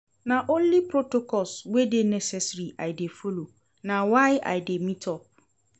Na only protocols wey dey necessary I dey folo, na why I dey meet up.